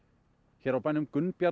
hér á bænum